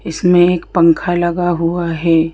इसमें एक पंखा लगा हुआ है।